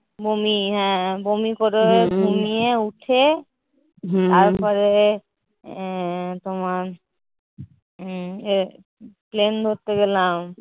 বমি হ্যাঁ বমি করে ঘুমিয়ে উঠে তারপরে আহ তোমার plane ধরতে গেলাম।